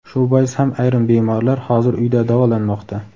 Shu bois ham ayrim bemorlar hozir uyda davolanmoqda.